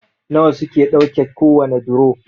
nawa suke ɗauke kowane duro?